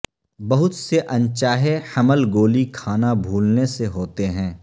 بہت سے ان چاہے حمل گولی کھانا بھولنے سے ہوتے ہیں